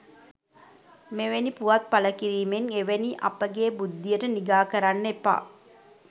මෙවැනි පුවත් පලකිරීමෙන් එවැනි අපගේ බුද්ධියට නිගා කරන්න එපා